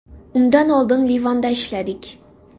Undan oldin Livanda ishladik.